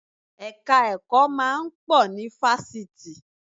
Ẹ̀ka ẹ̀kọ́ máa ń pọ̀ ní Fásitì.